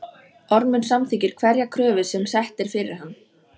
Ormur samþykkir hverja kröfu sem sett er fyrir hann.